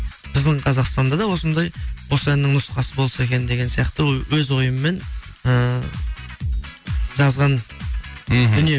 біздің қазақстанда да осындай осы әннің нұсқасы болса екен деген сияқты өз ойыммен ыыы жазған мхм дүнием